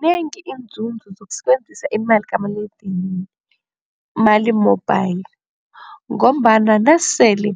Zinengi iinzuzo zokusebenzisa imali kamaliledinini money mobile ngombana nasele